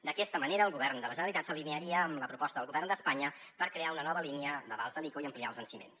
d’aquesta manera el govern de la generalitat s’alinearia amb la proposta del govern d’espanya per crear una nova línia d’avals de l’ico i ampliar ne els venciments